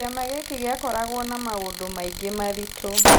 Kĩama gĩkĩ gĩakoragwo na maũndũ maingĩ maritũ